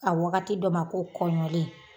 A wagati dɔ ma ko kɔɲɔlen.